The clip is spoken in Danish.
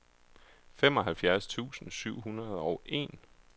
femoghalvfjerds tusind syv hundrede og en